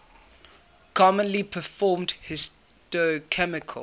commonly performed histochemical